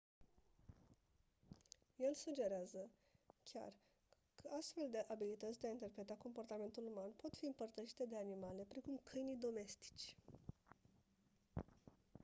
el sugerează chiar că astfel de abilități de a interpreta comportamentul uman pot fi împărtășite de animale precum câinii domestici